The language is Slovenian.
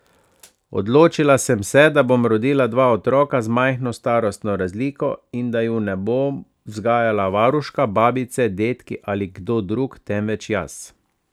Odločila sem se, da bom rodila dva otroka z majhno starostno razliko in da ju ne bo vzgajala varuška, babice, dedki ali kdo drug, temveč jaz.